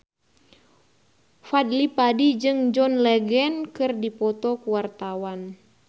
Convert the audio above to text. Fadly Padi jeung John Legend keur dipoto ku wartawan